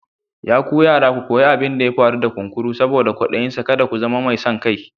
Ya ku yara ku koyi abin da ya faru da kunkuru saboda kwadayinsa, kada ku zama mai son kai.